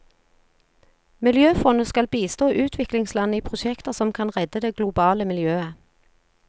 Miljøfondet skal bistå utviklingsland i prosjekter som kan redde det globale miljøet.